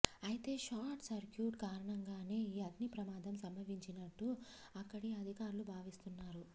అయితే short circuit కారణంగానే ఈ అగ్ని ప్రమాదం సంభవించినట్టు అక్కడి అధికారులు భావిస్తున్నారు